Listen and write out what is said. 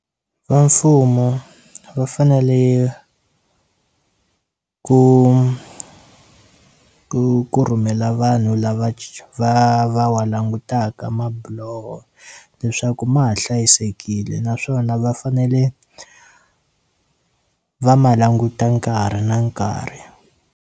Va mfumo va fanele ku ku ku rhumela vanhu lava va va wa langutaka mabiloho leswaku ma ha hlayisekile naswona va fanele va ma languta nkarhi na nkarhi.